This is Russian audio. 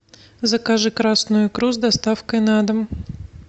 закажи красную икру с доставкой на дом